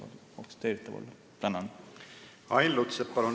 Ain Lutsepp, palun!